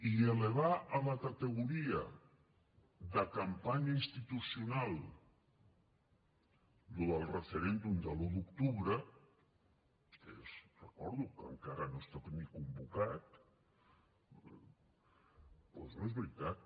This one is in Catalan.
i elevar a la categoria de campanya institucional això del referèndum de l’un d’octubre que ho recordo encara no està ni convocat doncs no és veritat